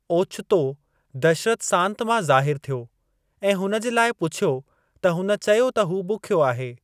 ओचितो दशरथ सांति मां ज़ाहिर थियो ऐं हुन जे लाइ पुछियो त हुन चयो त हू बुखियो आहे।